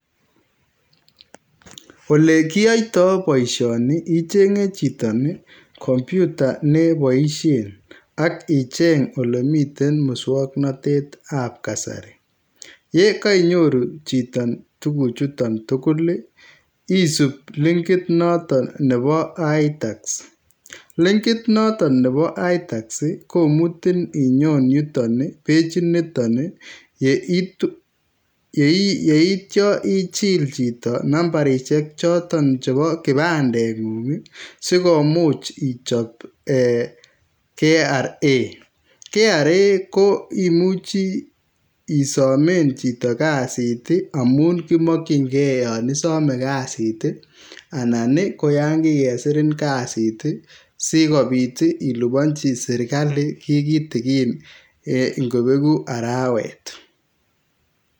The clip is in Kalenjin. Ole kiyoito boisioni ichenge chito kompyuta neboisien ak icheng elemiten muswoknotetab, yeko ii nyoru chito tuguchuton tugul ii isib linkit noton nebo Itax, linkit noton nebo Itax komutin inyon yuton ii pechiniton ii, yeitio ichil chito nambarishek choton chebo kipandengung sikomuch ichop ee KRA ,KRA koimuch isomen chito kazit ii amun kimokyingee yon isome kasit ii anan koyon kikesirin kasit ii sikobit ilibonji sirkali kii kitikin ingobeku arawet.